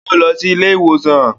Yóò lọ sí ilé ìwòsàn